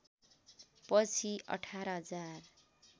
पछि १८ हजार